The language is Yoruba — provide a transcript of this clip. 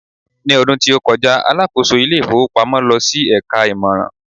ní ọdún tí o koja, alákóso ilé ifowópamọ́ lọ sí eka imoran